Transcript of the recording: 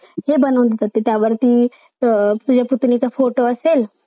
वादघज वक्तवी करून घस मास घालण्याचा प्रयतन अह संजय राऊत करते असं अह